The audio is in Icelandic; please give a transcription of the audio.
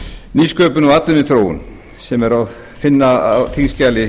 nýsköpun og atvinnuþróun sem er að finna á þingskjali